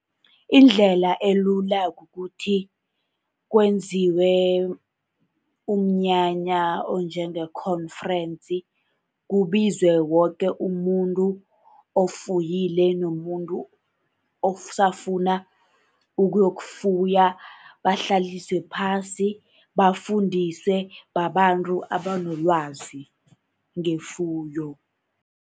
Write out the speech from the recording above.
Indlela elula kukuthi kwenziwe umnyanya okunjenge-conference, kubizwe woke umuntu ofuyile, nomuntu osafuna ukuyokufuya, bahlaliswe phasi, bafundiswe babantu abanelwazi ngefuyo.